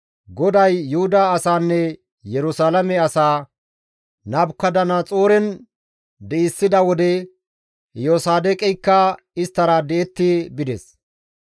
GODAY Yuhuda asaanne Yerusalaame asaa Nabukadanaxooren di7issida wode Iyosaadoqeykka isttara di7etti bides.